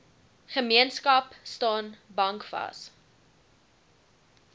gemeenskap staan bankvas